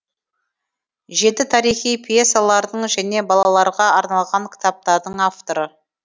жеті тарихи пьесалардың және балаларға арналған кітаптардың авторы